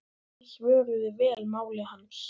Menn svöruðu vel máli hans.